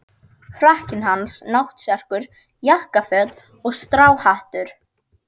Frakkinn hans, náttserkur, jakkaföt og stráhattur.